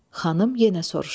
Xanım yenə soruşdu.